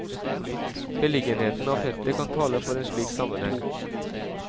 Beliggenheten av feltet kan tale for en slik sammenheng.